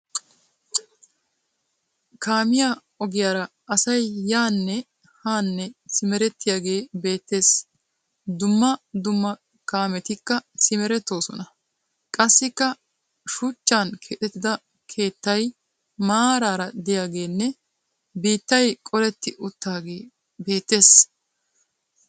Kaamiya ogiyara asay yaanne haanne simerettiyagee beettes. Dumma dumma kaametikka simerettoosona. Qassikka shuchchan keexettida keettay maaraara diyagenne biittay qoletti uttaagee beettes.